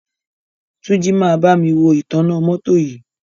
Túnjí máa bámi wo ìtanná mọ́tọ́ yìí.